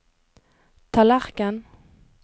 tallerken